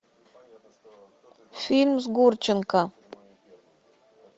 фильм с гурченко